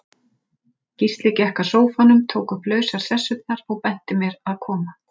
Gísli gekk að sófanum, tók upp lausar sessurnar, og benti mér að koma.